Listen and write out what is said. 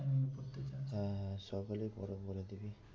হ্যাঁ হ্যাঁ সকালে পড়া বলে দিবি